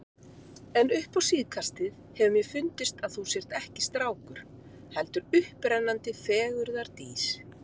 En upp á síðkastið hefur mér fundist að þú sért ekki strákur, heldur upprennandi fegurðardís.